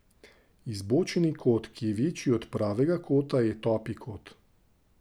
Izbočeni kot, ki je večji od pravega kota, je topi kot.